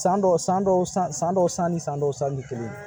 San dɔw san dɔw san san dɔw san ni san dɔw sanni tɛ kelen ye